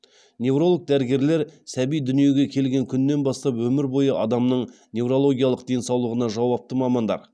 невролог дәрігерлер сәби дүниеге келген күннен бастап өмір бойы адамның неврологиялық денсаулығына жауапты мамандар